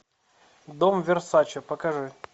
дом версаче покажи